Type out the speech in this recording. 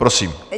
Prosím.